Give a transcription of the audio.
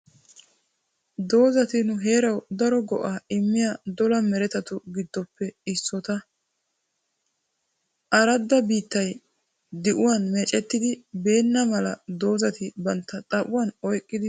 Doozati nu heerawu daro go"aa immiya dola meretattu giddoppe issoota. Aradda biittay di'uwaan meecetidi beenna mala dozati bantta xaphuwaan oyqqidi teqqoosona.